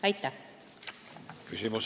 Aitäh!